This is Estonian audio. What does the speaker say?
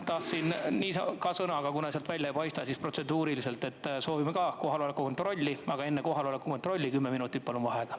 Tahtsin ka sõna, aga kuna sealt välja ei paista, siis protseduuriliselt soovime ka kohaloleku kontrolli, aga enne kohaloleku kontrolli palun kümme minutit vaheaega.